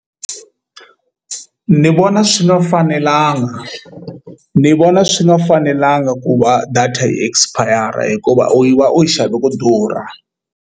Ni vona swi nga fanelanga ni vona swi nga fanelanga ku va data yi expire hikuva u va u yi xave ku durha.